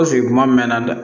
kuma mɛn na dɛ